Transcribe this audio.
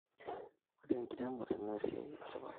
Ore inkeremore na esiai tipat